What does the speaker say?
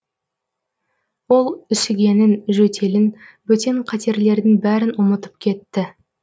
ол үсігенін жөтелін бөтен қатерлердің бәрін ұмытып кетті